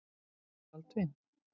Baldvin